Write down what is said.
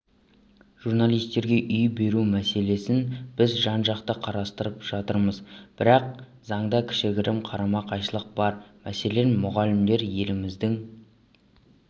журналистерге үй беру мәселесін біз жан-жақты қарастырып жатырмыз бірақ заңда кішігірім қарама-қайшылық бар мәселен мұғалімдер еліміздің